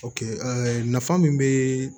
nafa min be